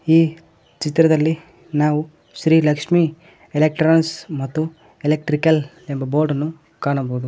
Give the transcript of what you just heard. ಈ ಚಿತ್ರದಲ್ಲಿ ನಾವು ಶ್ರೀ ಲಕ್ಷ್ಮಿ ಎಲೆಕ್ಟ್ರಾನಿಕ್ಸ್ ಮತ್ತು ಎಲೆಕ್ಟ್ರಿಕಲ್ ಎಂಬ ಬೋರ್ಡ್ ಅನ್ನು ಕಾಣಬಹುದು.